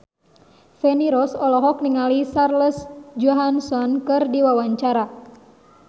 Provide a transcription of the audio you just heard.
Feni Rose olohok ningali Scarlett Johansson keur diwawancara